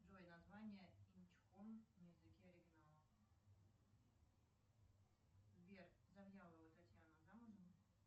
джой название инь чхон на языке оригинала сбер завьялова татьяна замужем